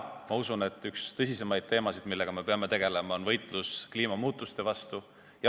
Ma usun, et praegu on üks tõsisemaid teemasid, millega me peame tegelema, võitlus kliimamuutuste vastu.